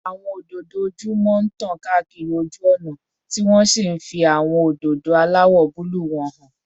Àwọn òdòdó ojúmọ́ tàn káàkiri ojú ọ̀nà, tí wọ́n sì ń fi àwọn òdòdó aláwọ̀ búlúù wọn hàn